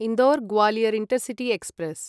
Indore Gwalior intercity express